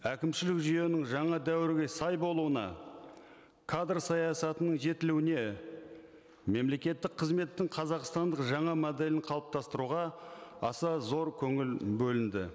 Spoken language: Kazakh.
әкімшілік жүйенің жаңа дәуірге сай болуына кадр саясатының жетілуіне мемлекеттік қызметтің қазақстандық жаңа моделін қалыптастыруға аса зор көңіл бөлінді